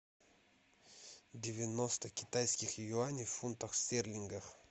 девяносто китайских юаней в фунтах стерлингах